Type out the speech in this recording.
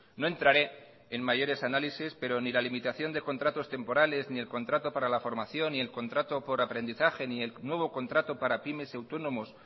no entraré en mayores análisis pero ni la limitación de contratos temporales ni el contrato para la formación ni el contrato por aprendizaje ni el nuevo contrato para pymes y autónomos